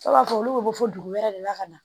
I b'a fɔ olu bɛ bɔ fo dugu wɛrɛ de la ka na